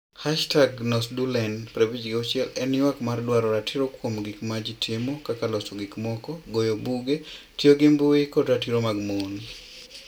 #NosDuelen56 en ywak mar dwaro ratiro kuom gik ma ji timo kaka loso gik moko, goyo buge, tiyo gi mbui, kod ratiro mag mon.